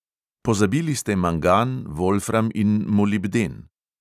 Pozabili ste mangan, volfram in molibden.